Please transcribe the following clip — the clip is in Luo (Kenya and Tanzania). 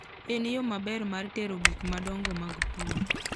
En yo maber mar tero gik madongo mag pur.